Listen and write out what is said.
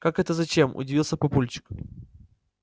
как это зачем удивился папульчик